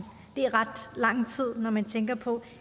det er ret lang tid når man tænker på